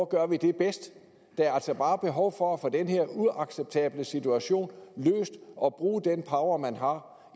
gør det bedst der er altså bare behov for at få den her uacceptable situation løst og bruge den power man har